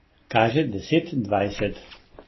Kaže deset dvajset.